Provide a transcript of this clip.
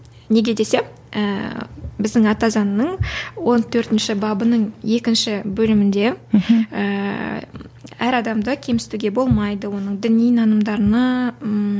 неге десе ііі біздің ата заңның он төртінші бабының екінші бөлімінде мхм әр адамды кемсітуге болмайды оның діни нанымдарына